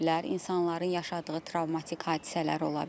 İnsanların yaşadığı travmatik hadisələr ola bilər.